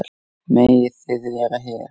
Megið þið vera hér?